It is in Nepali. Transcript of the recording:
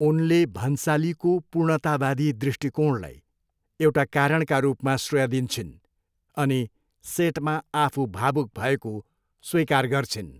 उनले भन्सालीको पूर्णतावादी दृष्टिकोणलाई एउटा कारणका रूपमा श्रेय दिन्छिन् अनि सेटमा आफू भावुक भएको स्वीकार गर्छिन्।